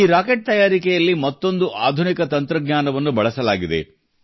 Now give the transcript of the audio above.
ಈ ರಾಕೆಟ್ ತಯಾರಿಕೆಯಲ್ಲಿ ಮತ್ತೊಂದು ಆಧುನಿಕ ತಂತ್ರಜ್ಞಾನವನ್ನು ಬಳಸಲಾಗಿದೆ